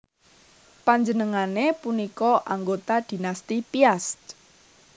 Panjenengané punika anggota Dinasti Piast